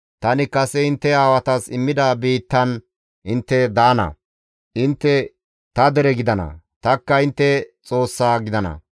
Tani kase intte aawatas immida biittan intte daana; intte ta dere gidana; tanikka intte Xoossaa gidana.